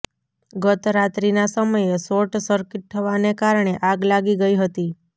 ગત રાત્રીના સમયે શોર્ટ સર્કિટ થવાને કારણે આગ લાગી ગઈ હતી